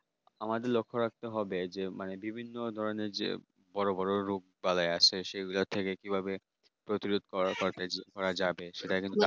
আমাদের লক্ষ্য রাখতে হবে এই যে বিভিন্ন ধরনের যে বড় বড় রোগ বালাই আসে সেগুলোর থেকে কি ভাবে প্রতিরোধ করার পর যে করা ঠিক করা যাবে সেটা